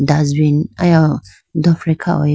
dustbin aya wo dofre kha athuji.